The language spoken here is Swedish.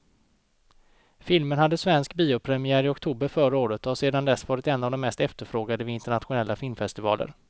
Filmen hade svensk biopremiär i oktober förra året och har sedan dess varit en av de mest efterfrågade vid internationella filmfestivaler.